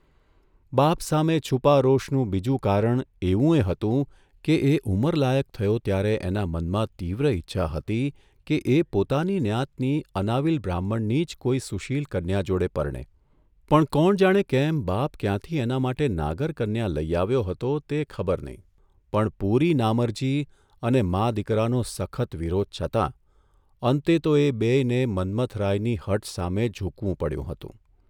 બાપ સામે છૂપા રોષનું બીજું કારણ એવું યે હતું કે એ ઉંમરલાયક થયો ત્યારે એના મનમાં તીવ્ર ઇચ્છા હતી કે એ પોતાની ન્યાતની અનાવિલ બ્રાહ્મણની જ કોઇ સુશીલ કન્યા જોડે પરણે, પણ કોણ જાણે કેમ બાપ ક્યાંથી એના માટે નાગર કન્યા લઇ આવ્યો હતો તે ખબર નહીં, પણ પૂરી નામરજી અને મા દીકરાનો સખત વિરોધ છતાં અંતે તો એ બેયને મન્મથરાયની હઠ સામે ઝૂકવું પડ્યું હતું.